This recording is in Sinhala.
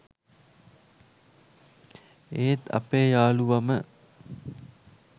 ඒත් අපේ යාලුවම